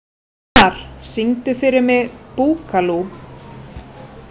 Hróðmar, syngdu fyrir mig „Búkalú“.